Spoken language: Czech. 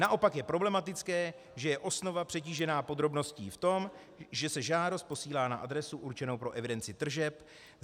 Naopak je problematické, že je osnova přetížená podrobností v tom, že se žádost posílá na adresu určenou pro evidenci tržeb.